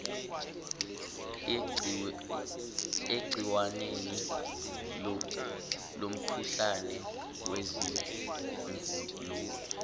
egciwaneni lomkhuhlane wezingulube